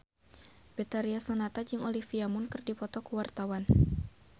Betharia Sonata jeung Olivia Munn keur dipoto ku wartawan